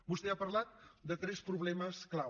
vostè ha parlat de tres problemes clau